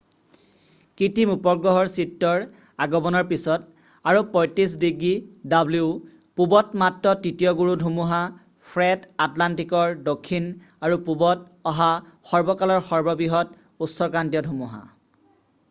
কৃত্ৰিম উপগ্ৰহৰ চিত্ৰৰ আগমনৰ পিছত আৰু ৩৫°w পূবত মাত্ৰ তৃতীয় গুৰু ধুমুহা ফ্ৰেড আটলান্টিকৰ দক্ষিণ আৰু পূবত অহা সৰ্বকালৰ সৰ্ববৃহৎ উষ্ণক্ৰান্তীয় ধুমুহা।